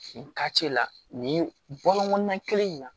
Nin la nin bɔlɔnna kelen in na